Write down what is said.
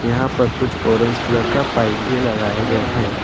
यहां पर कुछ ऑरेंज कलर का पाइप भी लगाए गए हैं।